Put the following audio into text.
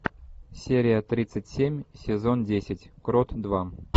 серия тридцать семь сезон десять крот два